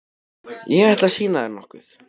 Ég ætla að sýna þér nokkuð.